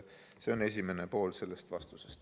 See on esimene pool vastusest.